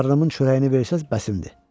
Qarnımın çörəyini versəz, bəsimdir.